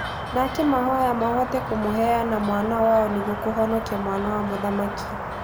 Na akĩmahoya mahote kũmũheana mwana wao nĩguo kũhonokia mwana wa mũthamaki.